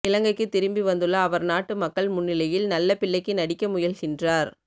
இலங்கைக்குத் திரும்பி வந்துள்ள அவர் நாட்டு மக்கள் முன்னிலையில் நல்ல பிள்ளைக்கு நடிக்க முயல்கின்றார்